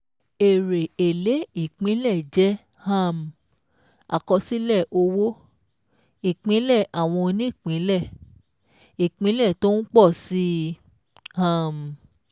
Èrè Èlé Ìpínlẹ̀ jẹ́ um àkọsílẹ̀ owó-ìpínlẹ̀ àwọn onípínlẹ̀-ìpínlẹ̀ tó ń pọ̀ sí i. um